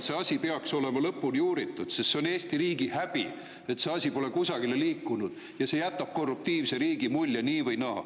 See asi peaks olema lõpuni uuritud, sest see on Eesti riigi häbi, et see asi pole kusagile liikunud, ja see jätab korruptiivse riigi mulje nii või naa.